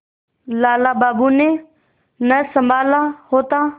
लाला बाबू ने न सँभाला होता